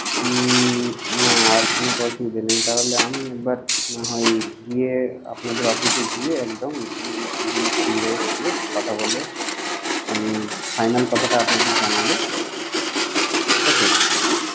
হুম না আর কোনো তো অসুবিধা নেই তাহলে আমি একবার নাহয় গিয়ে আপনাদের office এ গিয়ে একদম একদিন senior এর সঙ্গে কথা বলে আমি final কথাটা আপনাদের জানাবো. ঠিক আছে?